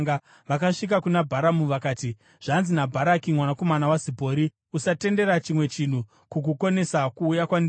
Vakasvika kuna Bharamu vakati: “Zvanzi naBharaki mwanakomana waZipori: Usatendera chimwe chinhu kukukonesa kuuya kwandiri,